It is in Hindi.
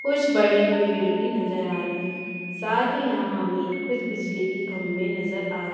कुछ बड़े पेड़ भी नज़र आ रहे है शायद यहाँ हमें कुछ बिजली की खंबे नज़र आ र --